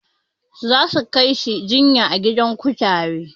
Za su kai shi jinya a gidan kutare.